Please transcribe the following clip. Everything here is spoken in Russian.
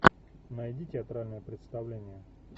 найди театральное представление